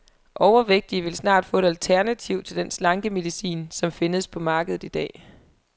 Overvægtige vil snart få et alternativ til den slankemedicin, som findes på markedet i dag.